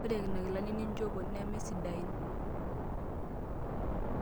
Ore nena kilanik ninchopo nemesidain.